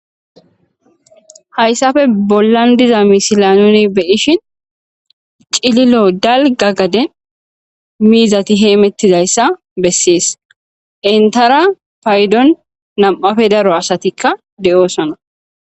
hayssafe bollan diza misilanuni beyishin cililo dalgagade miizati heemettidayssa bessees intara paydon nam7afe daro asatikka de7oosona